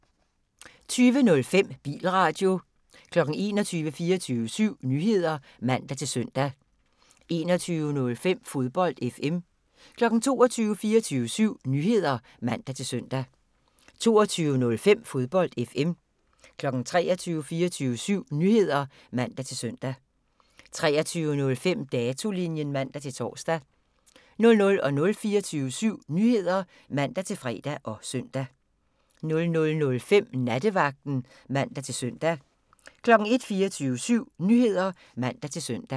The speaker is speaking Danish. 20:05: Bilradio 21:00: 24syv Nyheder (man-søn) 21:05: Fodbold FM 22:00: 24syv Nyheder (man-søn) 22:05: Fodbold FM 23:00: 24syv Nyheder (man-søn) 23:05: Datolinjen (man-tor) 00:00: 24syv Nyheder (man-fre og søn) 00:05: Nattevagten (man-søn) 01:00: 24syv Nyheder (man-søn)